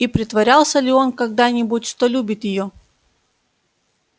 и притворялся ли он когда-нибудь что любит её